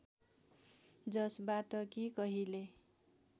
जसबाट कि कहिले